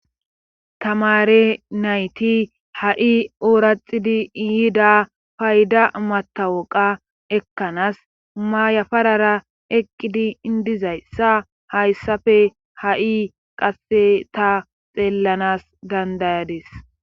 tamare nayti ha7i ooraxidi iyiida payda matawoqa ekkanas mayafarara eqqidi indizayssa hayssafe ha7i qasse ta xeellanas dandayadis